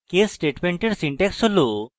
case স্টেটমেন্টের syntax হল